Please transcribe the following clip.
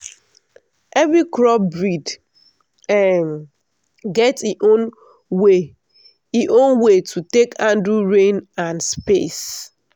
every crop breed um get e own way e own way to take handle rain and space.